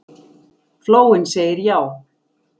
Flóinn segir já